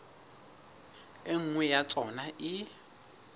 e nngwe ya tsona e